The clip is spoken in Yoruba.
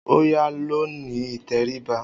Oòya lọ ní ìtẹríba